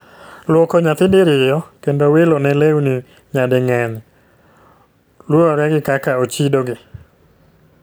Luoko nyathi diriyo kendo wilo ne lewni nyading'eny, lure gi kaka ochido gi